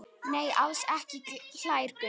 Nei, alls ekki hlær Gunnar.